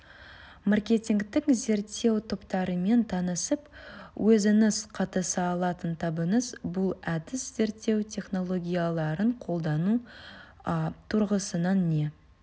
маркетингтік зерттеу топтарымен танысып өзіңіз қатыса алатын табыңыз бұл әдіс зерттеу технологияларын қолдану тұрғысынан не